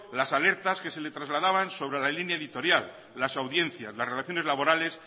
las alertas que se le trasladaban sobre la línea editorial las audiencias las relaciones laborales